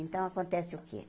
Então, acontece o quê?